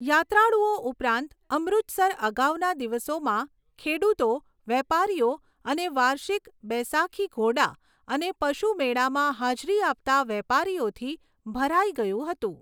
યાત્રાળુઓ ઉપરાંત, અમૃતસર અગાઉના દિવસોમાં ખેડૂતો, વેપારીઓ અને વાર્ષિક બૈસાખી ઘોડા અને પશુ મેળામાં હાજરી આપતા વેપારીઓથી ભરાઈ ગયું હતું.